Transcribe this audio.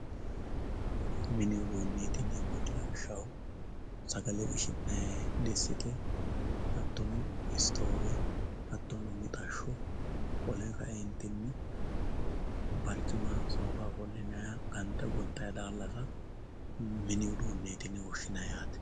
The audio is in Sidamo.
Mini uduuneti yineemmoti lawishshaho sagale qishi'nannite diste hattono isitofe mixasho wole kayinni baricima soofa ofollinanniha gonxani dalasa mini ufuuneti yine woshshinanni yaate.